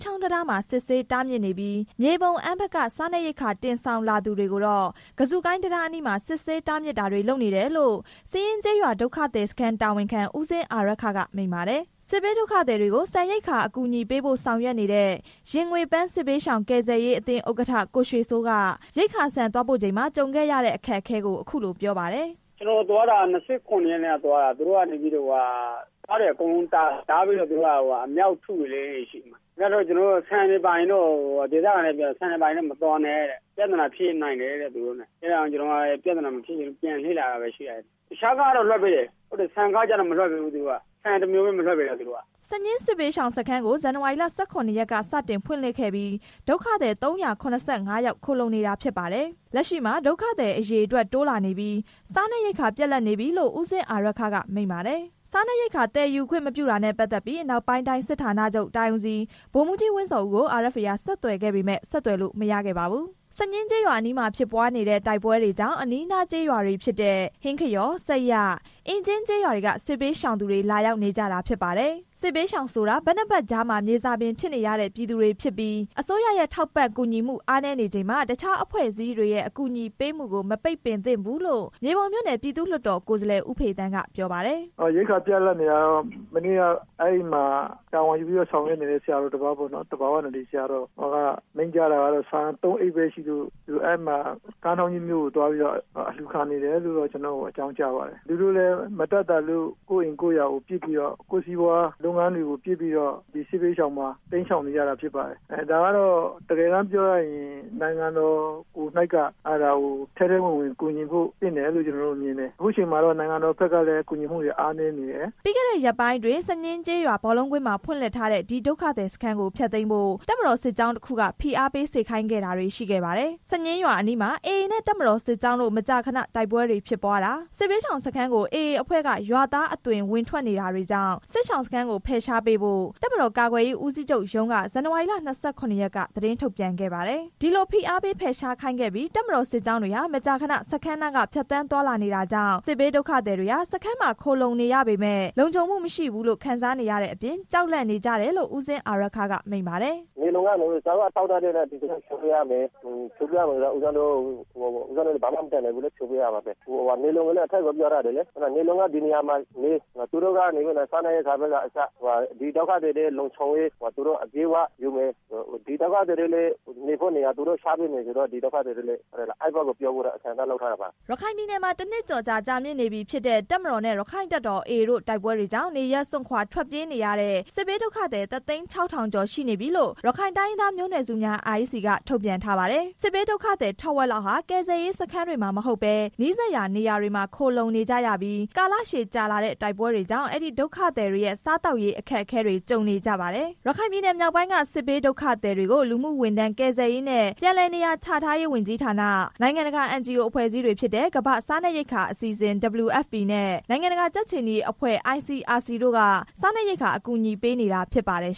ချောင်းတံတားမှာ စစ်ဆေးတားမြစ်နေပြီး၊ မြေပုံ၊ အမ်းဘက်က စားနပ်ရိက္ခာ တင်ဆောင်လာသူတွေကိုတော့ ကဇုကိုင်းတံတား အနီးမှာ စစ်ဆေးတားမြစ်တာတွေ လုပ်နေတယ်လို့ စညှင်းကျေးရွာ ဒုက္ခသည်စခန်း တာဝန်ခံ ဦးဇင်းဦးအာရက္ခက မိန့်ပါတယ်။ စစ်ဘေးဒုက္ခသည်တွေကို ဆန်ရိက္ခာ အကူအညီပေးဖို့ ဆောင်ရွက်နေတဲ့ ရင်ငွေ့ပန်း စစ်ဘေးရှောင် ကယ်ဆယ်ရေးအသင်း ဥက္ကဋ္ဌ ကိုရွှေစိုးက ရိက္ခာဆန်သွားပို့ချိန်မှာ ကြုံခဲ့တဲ့ ခက်အခဲကို အခုလိုပြောပါတယ်။ “ကျွန်တော်သွားတာက ၂၇ ရက်က သွားတာ။ သူတို့ကကားတွေအကုန်လုံးကို တားတယ်။ ဒေသခံတွေကတော့ ပြောတယ်။ ဆန်တွေပါရင်တော့ မသွားနဲ့ ။ သူတို့နဲ့ ပြဿနာဖြစ်နိုင်တယ်ဆိုပြီး ပြောတယ်။ ဒါကြောင့် ကျွန်တော်လည်း ပြဿနာမဖြစ်ချင်လို့ ပြန်လှည့်လာလိုက်တယ်။ တခြားကားတွေတော့ လွှတ်ပေးတယ်။ ဆန်တစ်မျိုးကိုပဲ မလွှတ်ပေးဘူး။” စညှင်းစစ်ဘေးရှောင်စခန်းကို ဇန်နဝါရီလ ၁၇ ရက်က စတင်ဖွင့်လှစ်ခဲ့ပြီး ဒုက္ခသည် ၃၇၅ ယောက် ခိုလှုံနေတာ ဖြစ်ပါတယ်။ လက်ရှိမှာ ဒုက္ခသည်အရေအတွက် တိုးလာနေပြီး စားနပ်ရိက္ခာ ပြတ်လပ်နေပြီလို့ ဦးဇင်းဦးအာရက္ခက မိန့်ပါတယ်။ စားနပ်ရိက္ခာဆန် သယ်ယူခွင့်မပြုတာနဲ့ ပတ်သက်ပြီး အနောက်ပိုင်းတိုင်းစစ်ဌာနချုပ် တိုင်းဦးစီး ဗိုလ်မှူးကြီး ဝင်းဇော်ဦးကို RFA က ဆက်သွယ်ခဲ့ပေမယ့် ဆက်သွယ်လို့မရခဲ့ပါဘူး။ စညှင်းကျေးရွာအနီးမှာဖြစ်ပွားနေတဲ့ တိုက်ပွဲတွေကြောင့် အနီးအနားကျေးရွာတွေဖြစ်တဲ့ ဟင်းခရော၊ ဆတ်ရ၊ အင်ကြင်းကျေးရွာတွေက စစ်ဘေးရှောင်သူတွေ လာရောက်နေကြတာဖြစ်ပါတယ်။ စစ်ဘေးရှောင်ဆိုတာ ဘက်နှစ်ဘက်ကြားမှာ မြေဇာပင်ဖြစ်နေရတဲ့ ပြည်သူတွေဖြစ်ပြီး အစိုးရရဲ့ ကူညီထောက်ပံ့မှု အားနည်းချိန်မှာ တခြားအဖွဲ့အစည်းတွေရဲ့ အကူအညီပေးမှုကို မပိတ်ပင်သင့်ဘူးလို့ မြေပုံမြို့နယ် ပြည်သူ့လွှတ်တော် ကိုယ်စားလှယ် ဦးဖေသန်းက ပြောပါတယ်။ “ရိက္ခာပြတ်လပ်နေတာကတော့ မနေ့က အဲဒီမှာ တာဝန်ယူဆောင်ရွက်နေတဲ့ ဆရာတော်တစ်ပါးက မိန့်ကြားတာကတော့ ဆန် သုံးအိတ်ပဲရှိလို့ ကမ်းထောင့်ကြီးမြို့မှာသွားပြီး အလှူခံနေတယ်လို့တော့ ကျွန်တော့်ကိုသတင်းပို့တယ်။ သူတို့လည်း မတတ်သာလို့ အိမ်နဲ့စီးပွားလုပ်ငန်းတွေကိုပစ်ပြီး လာပြီးတိမ်းရှောင် နေရတာဖြစ်ပါတယ်။ ဒါကိုနိုင်ငံတော်ကိုယ်တိုင်က ထဲထဲဝင်ဝင် ကူညီဖို့သင့်တယ်လို့ မြင်တယ်။ အခု အချိန်မှာတော့ နိုင်ငံတော်ဘက်က ကူညီမှုတွေ အားနည်းနေတယ်။” ပြီးခဲ့တဲ့ ရက်ပိုင်းအတွင်း စညှင်းကျေးရွာ ဘောလုံးကွင်းမှာ ဖွင့်လှစ်ထားတဲ့ ဒီဒုက္ခသည်စခန်းကို ဖျက်သိမ်းဖို့ တပ်မတော်စစ်ကြောင်းတစ်ခုက ဖိအားပေးစေခိုင်းခဲ့တာတွေ ရှိခဲ့ပါတယ်။ စညှင်းရွာအနီးမှာ AA နဲ့ တပ်မတော်စစ်ကြောင်းတို့ မကြာခဏ တိုက်ပွဲတွေဖြစ်ပွားနေတာ၊ စစ်ဘေးရှောင်စခန်းကို AA အဖွဲ့က ရွာသားအသွင် ဝင်ထွက်နေတာတွေကြောင့် စစ်ရှောင်စခန်းကို ဖယ်ရှားပေးဖို့ တပ်မတော်ကာကွယ်ရေး ဦးစီးချုပ်ရုံးက ဇန်နဝါရီလ ၂၇ ရက်ကသတင်း ထုတ်ပြန်ခဲ့ပါတယ်။ ဒီလိုဖိအားပေးဖယ်ရှားခိုင်းခဲ့ပြီး တပ်မတော်စစ်ကြောင်းတွေ မကြာခဏစခန်းနားက ဖြတ်သန်းသွားလာ နေတာကြောင့် စစ်ဘေးရှောင်တွေဟာ စခန်းမှာ ခိုလှုံနေရပေမယ့် လုံခြုံမှုမရှိဘူးလို့ ခံစားနေရတဲ့အပြင် ကြောက်လန့်နေကြရတယ်လို့ ဦးဇင်းဦးအာရက္ခက မိန့်ပါတယ်။ “ဖြိုဆိုရင်တော့ ဖြိုပေးရမှာပဲလေ။ ဘာမှမတတ်နိုင်ဘူး။ ဒါပေမဲ့ ဒီဒုက္ခသည်တွေရဲ့ လုံခြုံရေးကို အပြည့်အ၀ တာဝန်ယူမယ်။ ဒီဒုက္ခသည်တွေအတွက် နေရာချပေးမယ်ဆိုရင်တော့ ဒီက ဒုက္ခသည်တွေလည်း ပြောင်းပေးဖို့ အဆင်သင့်ပါ။” ရခိုင်ပြည်နယ်မှာ တစ်နှစ်ကျော်ကြာမြင့်နေပြီဖြစ်တဲ့ တပ်မတော်နဲ့ ရက္ခိုင့်တပ်တော် AA တို့ တိုက်ပွဲ တွေကြောင့် နေရပ်စွန့်ခွာထွက်ပြေးနေရတဲ့ စစ်ဘေးဒုက္ခသည် တစ်သိန်းခြောက်ထောင်ကျော် ရှိနေပြီလို့ ရခိုင်တိုင်းရင်းသား မျိုးနွယ်စုများ REC ကထုတ်ပြန်ထားပါတယ်။ စစ်ဘေးဒုက္ခသည် ထက်ဝက်လောက်ဟာ ကယ်ဆယ်ရေးစခန်းတွေမှာ မဟုတ်ဘဲ နီးစပ်ရာနေရာ တွေမှာ ခိုလှုံနေကြရပြီး ကာလကြာရှည်လာတဲ့ တိုက်ပွဲတွေကြောင့် အဲဒီဒုက္ခသည်တွေရဲ့ စားသောက်နေထိုင်ရေး အခက်အခဲတွေ ကြုံနေကြပါတယ်။ ရခိုင်ပြည်နယ်မြောက်ပိုင်းက စစ်ဘေးဒုက္ခသည်တွေကို လူမှုဝန်ထမ်းကယ်ဆယ်ရေးနဲ့ ပြန်လည်နေရာချထားရေး ဝန်ကြီးဌာန၊ နိုင်ငံတကာ NGO အဖွဲ့အစည်းတွေဖြစ်တဲ့ ကမ္ဘာ့စားနပ်ရိက္ခာ အစီ အစဉ် WFP နဲ့ နိုင်ငံတကာ ကြက်ခြေနီအဖွဲ့ ICRC တို့က စားနပ်ရိက္ခာ အကူအညီပေးနေတာ ဖြစ်ပါတယ်